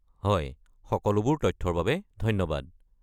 হয়, সকলোবোৰ তথ্যৰ বাবে ধন্যবাদ।